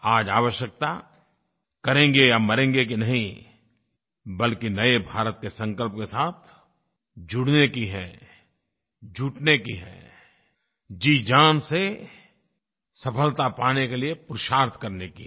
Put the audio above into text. आज आवश्यकता करेंगे या मरेंगे की नहीं बल्कि नये भारत के संकल्प के साथ जुड़ने की है जुटने की है जीजान से सफलता पाने के लिये पुरुषार्थ करने की है